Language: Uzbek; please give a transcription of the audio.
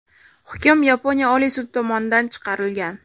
Hukm Yaponiya Oliy sudi tomonidan chiqarilgan.